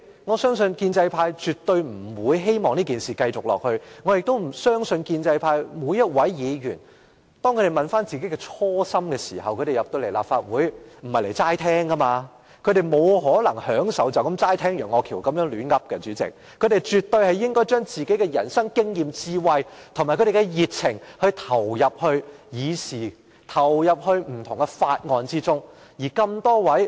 我相信建制派絕對不會希望這情況繼續下去，我亦不相信每一位建制派議員，他們進入立法會的初心，並非只來聽人家發言，他們沒可能只想聽楊岳橋在這裏胡說八道，他們絕對應該將自己的人生經驗、智慧和熱情投入議會事務，投入不同的法案審議工作中。